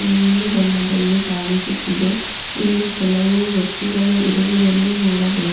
ನೀಲಿ ಬಣ್ಣದಲ್ಲಿ ಕಾಣಿಸುತ್ತಿದೆ ಇಲ್ಲಿ ಕೆಲವು ವ್ಯಕ್ತಿಗಳು ಇರುವುದನ್ನು ನೋಡಬಹು --